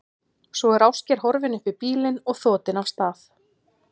Svo er Ásgeir horfinn upp í bílinn og þotinn af stað.